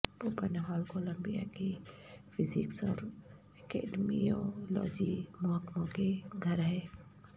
پوپن hall Columbia کی physics اور اکیڈمیولوجی محکموں کے گھر ہے